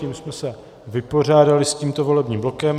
Tím jsme se vypořádali s tímto volebním blokem.